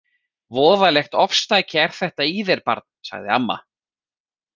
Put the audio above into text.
Voðalegt ofstæki er þetta í þér barn, sagði amma.